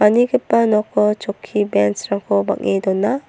manigipa noko chokki bench-rangko bang·e dona.